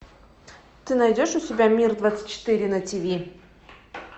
ты найдешь у себя мир двадцать четыре на ти ви